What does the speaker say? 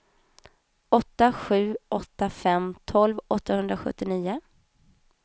åtta sju åtta fem tolv åttahundrasjuttionio